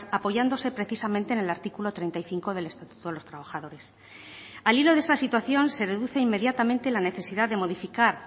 apoyándose precisamente en el artículo treinta y cinco del estatuto de los trabajadores al hilo de esta situación se deduce inmediatamente la necesidad de modificar